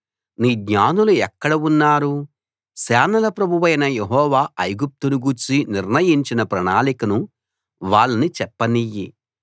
నీ జ్ఞానులు ఎక్కడ ఉన్నారు సేనల ప్రభువైన యెహోవా ఐగుప్తును గూర్చి నిర్ణయించిన ప్రణాళికను వాళ్ళని చెప్పనియ్యి